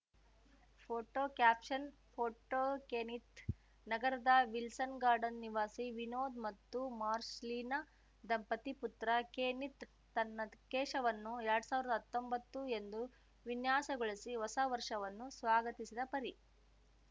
photo caption photo Kenneth ನಗರದ Wilson Garden ನಿವಾಸಿ ವಿನೋದ್‌ ಮತ್ತು ಮಾರ್ಷಲೀನಾ ದಂಪತಿ ಪುತ್ರ ಕೆನೀತ್‌ ತನ್ನ ಕೇಶವನ್ನು ಎರಡ್ ಸಾವಿರ್ದಾ ಹತ್ತೊಂಬತ್ತು ಎಂದು ವಿನ್ಯಾಸಗೊಳಿಸಿ ಹೊಸವರ್ಷವನ್ನು ಸ್ವಾಗತಿಸಿದ ಪರಿ